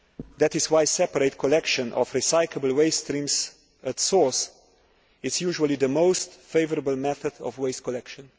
That is why separate collection of recyclable waste streams at source is usually the most favourable method of waste collection.